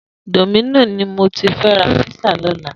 Domino ni mó ti fè rà pizza lòlá